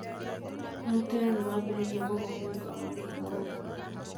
Aruti wĩra nĩmambĩrĩirie mũgomo nĩũndu wa marĩhi moru